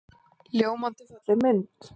Ljómandi falleg mynd.